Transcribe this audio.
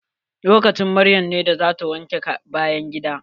Lokacin maryam ne da zata wanke bayan gida.